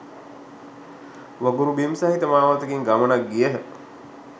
වගුරු බිම් සහිත මාවතකින් ගමනක් ගියහ.